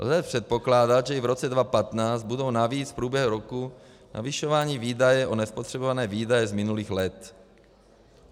Lze předpokládat, že i v roce 2015 budou navíc v průběhu roku navyšovány výdaje o nespotřebované výdaje z minulých let.